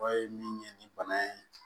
O ye min ye ni bana ye